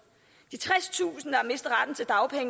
de tredstusind